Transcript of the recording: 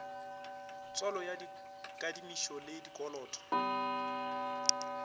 tswalo ya dikadimišo le dikoloto